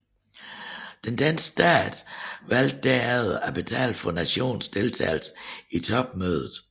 Den danske stat valgte derefter at betale for nationens deltagelse i topmødet